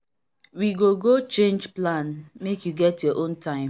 we go go change plan make you get your own time.